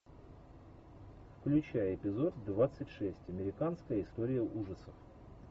включай эпизод двадцать шесть американская история ужасов